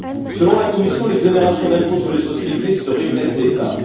Selon la Commission, l'exonération de l'impôt sur les sociétés serait une aide d'État.